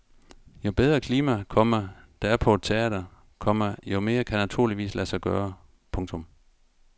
Jo bedre klima, komma der er på et teater, komma jo mere kan naturligvis lade sig gøre. punktum